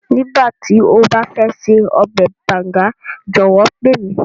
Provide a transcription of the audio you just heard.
Nígbàtí o ba fẹ ṣe ọbẹ̀ Banga jọ̀wọ́ pe mi.